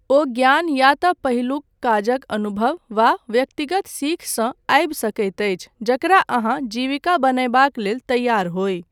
ओ ज्ञान या तँ पहिलुक काजक अनुभव वा व्यक्तिगत सीख सँ आबि सकैत अछि जकरा अहाँ जीविका बनयबाक लेल तैयार होइ।